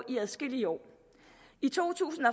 i adskillige år i to tusind